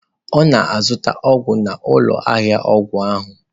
Ọ na-azụta ọgwụ n'ụlọ ahịa ọgwụ ahụ.